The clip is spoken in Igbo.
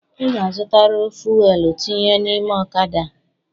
I ga-azutariri fuelu tinye n’ime ọ̣kada a!